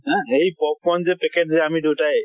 হা, সেই popcorn যে packet যে আমি দুয়োটাই